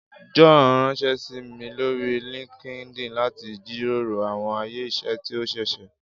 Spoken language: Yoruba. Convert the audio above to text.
John ranṣẹ si mi lori LinkedIn lati jiroro awọn aye iṣẹ ti o ṣeeṣe.